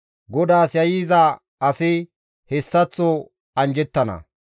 GODAAS yayyiza asi hessaththo anjjettana.